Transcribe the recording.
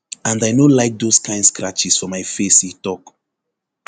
and i no like dose kain scratches for my face e tok